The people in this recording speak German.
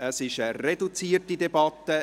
Es ist eine reduzierte Debatte.